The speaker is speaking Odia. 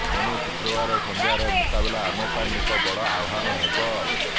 ଏଣୁ ଶୁକ୍ରବାର ସଂଧ୍ୟାର ମୁକାବିଲା ଆମ ପାଇଁ ଏକ ବଡ଼ ଆହ୍ବାନ ହେବ